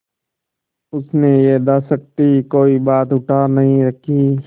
उसने यथाशक्ति कोई बात उठा नहीं रखी